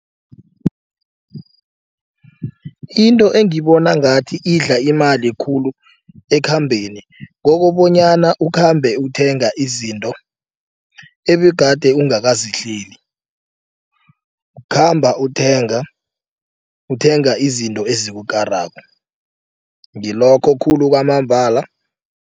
Into engibona ngathi idla imali khulu ekhambeni kokobonyana ukhambe uthenga izinto ebegade ungakazihleli. Kukhamba uthenga uthenga izinto ezikukarako ngilokho khulu kwamambala.